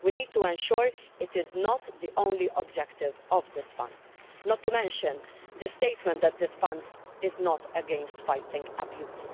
We need to ensure it is not the only objective of this Fund not to mention the statement that this Fund is not against fighting abuse.